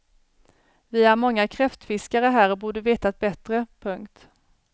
Vi är många kräftfiskare här och borde vetat bättre. punkt